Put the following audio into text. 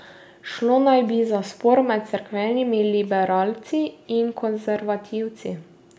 Šlo naj bi za spor med cerkvenimi liberalci in konzervativci.